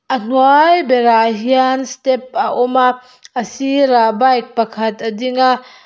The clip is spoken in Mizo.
a hnuai berah hian step a awm a a sirah bike pakhat a ding a.